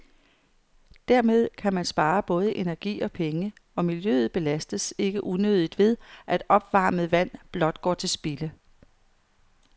Dermed kan man spare både energi og penge, og miljøet belastes ikke unødigt ved, at opvarmet vand blot går til spilde.